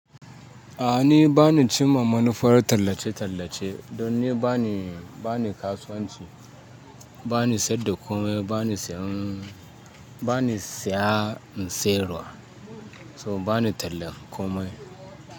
A ni bani cin mamman farar tallace-tallace don ni bani, bani kasuwanci, bani saida komai, bani sayan, bani saya in sayarwa, so bani tallan komai.